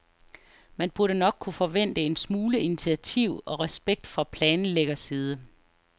Man burde nok kunne forvente en smule initiativ og respekt fra planlæggerside.